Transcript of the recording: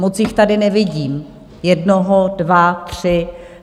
Moc jich tady nevidím, jednoho, dva, tři...